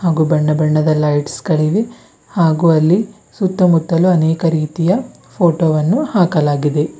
ಹಾಗೂ ಬಣ್ಣ ಬಣ್ಣದ ಲೈಟ್ಸ್ ಗಳಿವೆ ಹಾಗೂ ಅಲ್ಲಿ ಸುತ್ತಮುತ್ತಲು ಅನೇಕ ರೀತಿಯ ಫೋಟೋ ವನ್ನು ಹಾಕಲಾಗಿದೆ.